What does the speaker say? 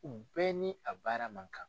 U bɛɛ ni a baara ma kan.